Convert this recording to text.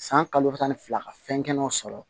San kalo tan ni fila ka fɛn kɛnɛw sɔrɔ